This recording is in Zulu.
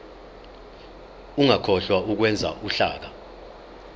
ungakhohlwa ukwenza uhlaka